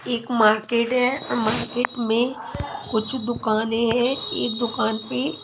एक मार्केट है मार्केट में कुछ दुकानें है एक दुकान पे--